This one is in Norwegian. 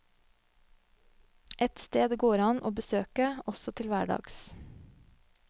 Et sted det går an å besøke også til hverdags.